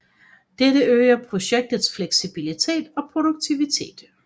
Dette øger projektets fleksibilitet og produktivitet